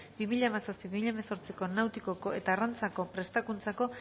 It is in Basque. bi mila hamazazpi bi mila hemezortziko nautikako eta arrantzako prestakuntzako